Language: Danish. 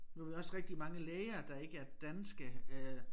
Nu vi også rigtig mange læger der ikke er danske øh